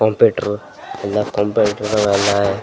computer ಎಲ್ಲಾ complaint ಇದ್ದವೆಲ್ಲ --